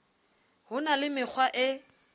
ho na le mekgwa e